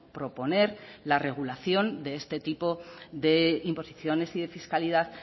proponer la regulación de este tipo de imposiciones y de fiscalidad